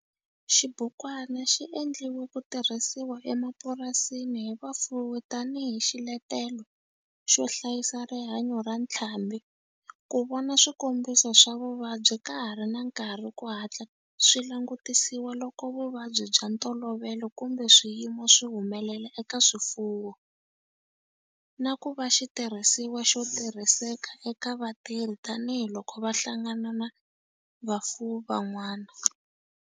Xibukwana xi endliwe ku tirhisiwa emapurasini hi vafuwi tani hi xiletelo xo hlayisa rihanyo ra ntlhambhi, ku vona swikombiso swa vuvabyi ka ha ri na nkarhi ku hatla swi langutisiwa loko vuvabyi bya ntolovelo kumbe swiyimo swi humelela eka swifuwo, na ku va xitirhisiwa xo tirhiseka eka vatirhi tani hi loko va hlangana na vafuwi van'wana.